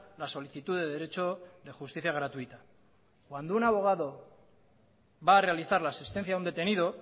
la solicitud de derecho de justicia gratuita cuando un abogado va a realizar la asistencia a un detenido